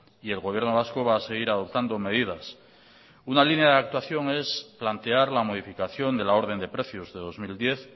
y el gobierno vasco va a seguir adoptando medidas una línea de actuación es plantear la modificación de la orden de precios de dos mil diez